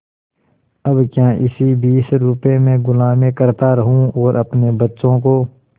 अब क्या इसी बीस रुपये में गुलामी करता रहूँ और अपने बच्चों को